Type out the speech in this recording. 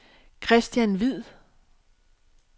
Kristian Hvid